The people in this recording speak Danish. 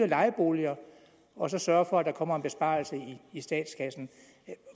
lejeboligerne og så sørge for at der kommer en besparelse i statskassen